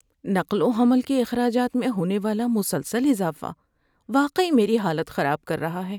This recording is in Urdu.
نقل و حمل کے اخراجات میں ہونے والا مسلسل اضافہ واقعی میری حالت خراب کر رہا ہے۔